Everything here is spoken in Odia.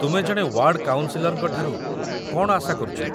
ତୁମେ ଜଣେ ୱାର୍ଡ଼୍ କାଉନ୍‌ସିଲର୍‌ଙ୍କ ଠାରୁ କ'ଣ ଆଶା କରୁଛ?